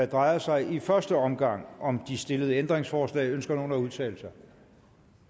drejer sig i første omgang om de stillede ændringsforslag ønsker nogen at udtale sig det er